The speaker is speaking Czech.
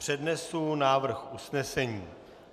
Přednesu návrh usnesení.